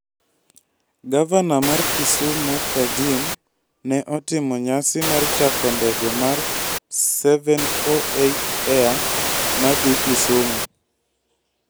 Gavana mar Kisumu Kajim' ne otimo nyasi mar chako ndege mar 748 Air ma dhi Kisumu.